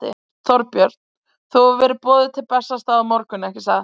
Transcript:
Þorbjörn: Þú hefur verið boðuð til Bessastaða á morgun, ekki satt?